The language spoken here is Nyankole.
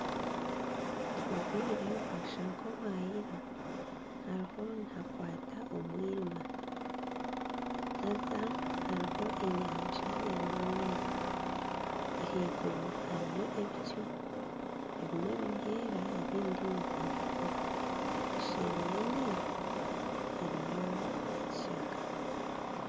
Obwire bwashusha nk'obwayira . Hariho nihakwaata omwirima haza hariho enyanja erimu amaizi. Ah'iguru hariyo ebicu. Ebimwe nibyeera, ebindi nibiragura. Eseeri y'amaizi hariyo ekishaka.